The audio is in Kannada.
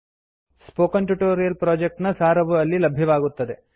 ಸ್ಪೋಕನ್ ಟ್ಯೂಟೋರಿಯಲ್ ಪ್ರೊಜೆಕ್ಟ್ ನ ಸಾರವು ಅಲ್ಲಿ ಲಭ್ಯವಾಗುತ್ತದೆ